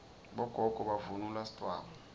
bogogo bavunula sidvwaba